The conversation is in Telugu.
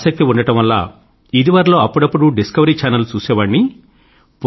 ఆసక్తి ఉండడం వల్ల ఇదివరలో అప్పుడప్పుడూ డిస్కవరీ ఛానల్ చూసేవాణ్ణి